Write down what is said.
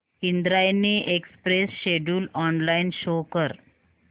Indrayani express schedule online show कर